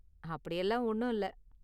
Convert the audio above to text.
அப்படியெல்லாம் ஒன்னும் இல்ல.